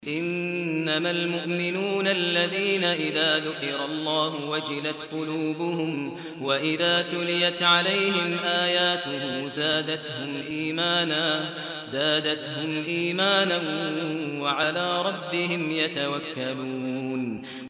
إِنَّمَا الْمُؤْمِنُونَ الَّذِينَ إِذَا ذُكِرَ اللَّهُ وَجِلَتْ قُلُوبُهُمْ وَإِذَا تُلِيَتْ عَلَيْهِمْ آيَاتُهُ زَادَتْهُمْ إِيمَانًا وَعَلَىٰ رَبِّهِمْ يَتَوَكَّلُونَ